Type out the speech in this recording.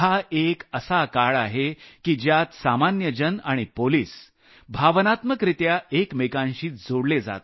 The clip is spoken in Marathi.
एक असा काळ आहे की ज्यात सामान्य जन आणि पोलिस भावनात्मकरित्या एकमेकांशी जोडले जात आहेत